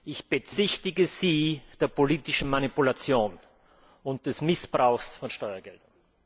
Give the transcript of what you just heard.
Ich bezichtige Sie der politischen Manipulation und des Missbrauchs von Steuergeldern.